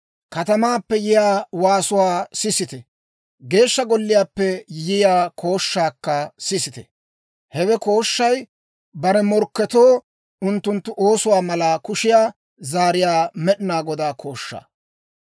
Katamaappe yiyaa waasuwaa sisite; Geeshsha Golliyaappe yiyaa kooshshaakka sisite. Hewe kooshshay bare morkketoo unttunttu oosuwaa mala kushiyaa zaariyaa Med'inaa Godaa kooshshaa.